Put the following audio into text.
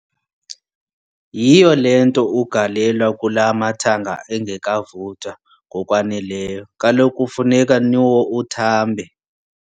Yhiyo le nto ugalelwa kula mathanga engekavuthwa ngokwaneleyo, kaloku kufuneka nwo uthambe,